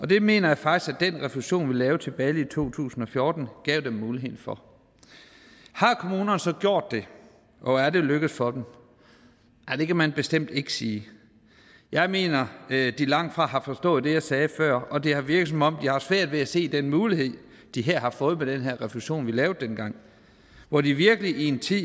det mener jeg faktisk at den refusion vi lavede tilbage to tusind og fjorten gav dem mulighed for har kommunerne så gjort det og er det lykkedes for dem det kan man bestemt ikke sige jeg mener at de langtfra har forstået det jeg sagde før og at det har virket som om de har haft svært ved at se den mulighed de har fået med den refusion som vi lavede dengang hvor de virkelig i en tid